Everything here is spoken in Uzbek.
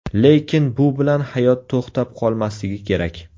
Lekin bu bilan hayot to‘xtab qolmasligi kerak.